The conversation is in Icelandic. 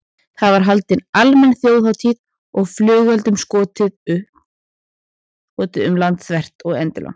Það var haldin almenn þjóðhátíð og flugeldum skotið um landið þvert og endilangt.